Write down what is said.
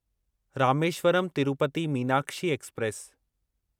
Rameswaram Tirupati Meenakshi express